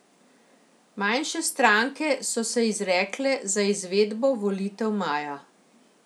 Manjše stranke so se izrekle za izvedbo volitev maja.